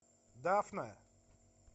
дафна